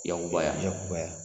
Yakuba yan , yakubaya.